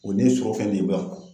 olu ye surɔfɛn ne ye buwa